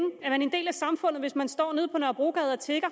er man en del af samfundet hvis man står nede på nørrebrogade og tigger